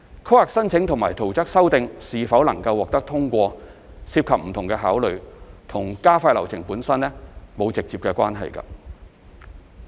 規劃申請或圖則修訂是否獲通過涉及不同考慮，與加快流程本身並無直接關係。